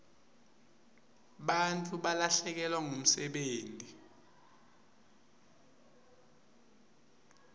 bantfu balahlekelwa ngumsebenti